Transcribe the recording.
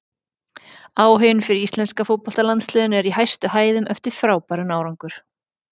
Áhuginn fyrir íslenska fótboltalandsliðinu er í hæstu hæðum eftir frábæran árangur.